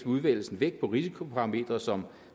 udvælgelsen vægt på risikoparametre som